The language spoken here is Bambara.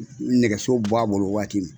Nɛgɛso b'a bolo waati min.